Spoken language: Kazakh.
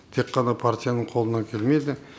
тек қана партияның қолынан келмейді